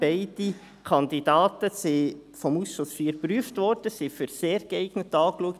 Beide Kandidaten wurden vom Ausschuss IV geprüft und als «sehr geeignet» angeschaut.